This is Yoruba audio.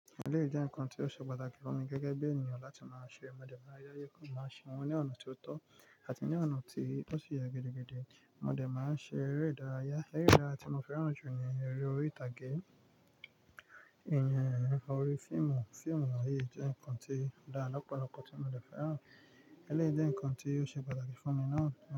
Eléyìí jẹ́ ǹkan tí ó ṣe pàtàkì fún mi gẹ́gẹ́ bí ènìyàn láti máa ṣe mọ̀ dẹ̀ máa dáyá yẹ kó máa ṣe wọ́n ní ọ̀nà tí ó tọ́ àti ní ọ̀nà tí ó sì yẹ gidigidi. Ìmọ̀dẹ́ máa ń ṣe eré ìdárayá. Eré rárá tí mo fẹ́ràn jù ní eré orí ìtàgé, ìyanrìn, orí fíìmù. Fíìmù ààyè jẹ́ ǹkan tí óda lọ́pọ̀lọpọ̀ tí ìmọ̀dẹ́ fẹ́ràn. Eléyìí jẹ́ ǹkan tí ó ṣe pàtàkì fún mi náà.